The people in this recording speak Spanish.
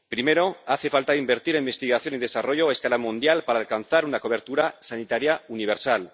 Primero, hace falta invertir en investigación y desarrollo a escala mundial para alcanzar una cobertura sanitaria universal.